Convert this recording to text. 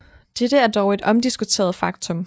Dette er dog et omdiskuteret faktum